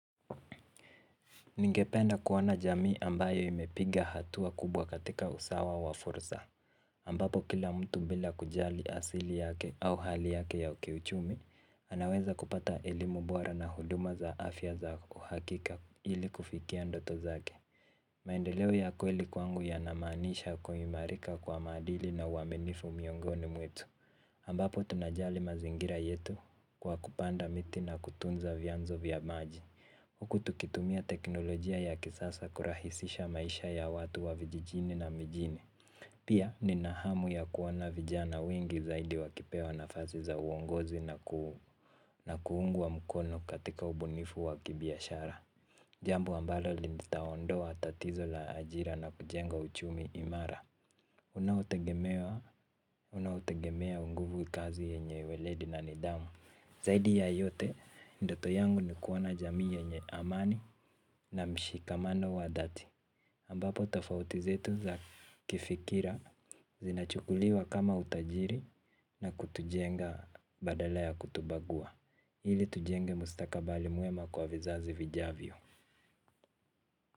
Ningependa kuona jamii ambayo imepiga hatua kubwa katika usawa wa fursa ambapo kila mtu bila kujali asili yake au hali yake ya kiuchumi. Anaweza kupata elimu bora na huduma za afya za uhakika ili kufikia ndoto zake. Maendeleo ya kweli kwangu yanamanisha kuimalika kwa maadili na uaminifu miongoni mwetu ambapo tunajali mazingira yetu kwa kupanda miti na kutunza vyanzo vya maji huku tukitumia teknolojia ya kisasa kurahisisha maisha ya watu wa vijijini na mijini. Pia ninahamu ya kuona vijana wengi zaidi wakipewa nafasi za uongozi na kuungwa mkono katika ubunifu wa kibiashara. Jambu ambalo litaondoa tatizo la ajira na kujenga uchumi imara unaotegemea unguvu kazi yenye weledi na nidhamu. Zaidi ya yote, ndoto yangu ni kuona jamii yenye amani na mshikamano wa dhati. Ambapo tofauti zetu za kifikira zinachukuliwa kama utajiri na kutujenga badala ya kutubagua. Ili tujenge mustakabali mwema kwa vizazi vijavyo.